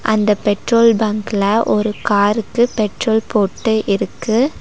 அந்த பெட்ரோல் பங்க்ல ஒரு காருக்கு பெட்ரோல் போட்டு இருக்கு.